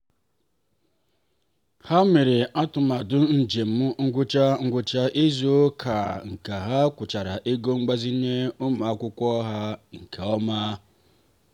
ha mere atụmatụ njem ngwụcha ngwụcha izu ụka ka ha kwụchara ego mgbazinye ụmụ akwụkwọ ha nke ọma.